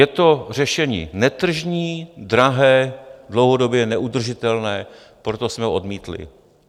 Je to řešení netržní, drahé, dlouhodobě neudržitelné, proto jsme ho odmítli.